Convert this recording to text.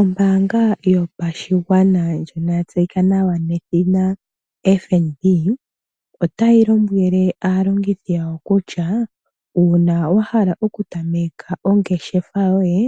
Ombaanga yopashigwana ndjono ya tseyika nawa nedhina FNB otayi lombwele aalongithi yawo kutya, uuna wa hala okutameka ongeshefa yoye